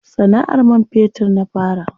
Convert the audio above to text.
Sana'ar man fetur na fara.